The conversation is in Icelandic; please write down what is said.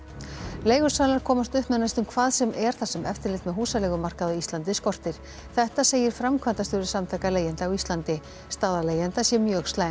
leigusalar komast upp með næstum hvað sem er þar sem eftirlit með húsaleigumarkaði á Íslandi skortir þetta segir framkvæmdastjóri Samtaka leigjenda á Íslandi staða leigjenda sé mjög slæm